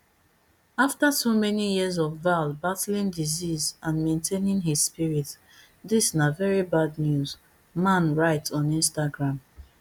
after so many years of val battling disease and maintaining his spirit dis na very sad news mann write on instagram